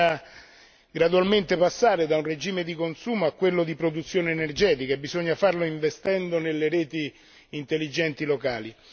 Occorre gradualmente passare da un regime di consumo a quello di produzione energetica e occorre farlo investendo nelle reti intelligenti locali.